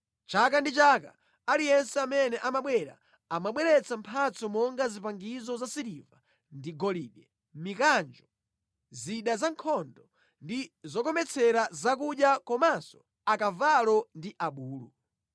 Chaka ndi chaka, aliyense amene amabwera, amabweretsa mphatso monga zipangizo zasiliva ndi golide, mikanjo, zida zankhondo ndi zokometsera zakudya komanso akavalo ndi abulu.